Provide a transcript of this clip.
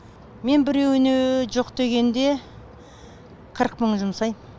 мен біреуіне жоқ дегенде қырық мың жұмсаймын